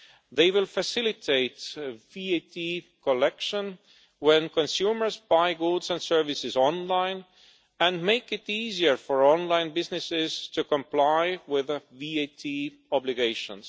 They will facilitate VAT collection when consumers buy goods and services online and make it easier for online businesses to comply with their VAT obligations.